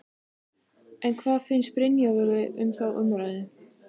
En hvað finnst Brynjólfi um þá umræðu?